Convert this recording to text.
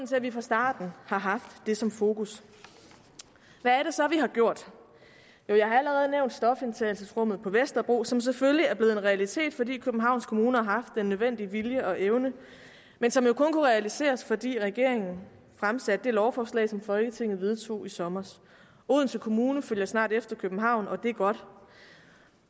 til at vi fra starten har haft det som fokus hvad er det så vi har gjort jo jeg har allerede nævnt stofindtagelsesrummet på vesterbro som selvfølgelig er blevet en realitet fordi københavns kommune har haft den nødvendige vilje og evne men som jo kun kunne realiseres fordi regeringen fremsatte det lovforslag som folketinget vedtog i sommer odense kommune følger snart efter københavn og det er godt